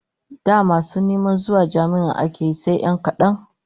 Da neman masu zuwa jami'a ake yi sai 'yan kadan